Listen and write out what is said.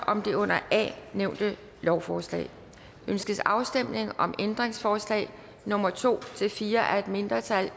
om det under a nævnte lovforslag ønskes afstemning om ændringsforslag nummer to fire af et mindretal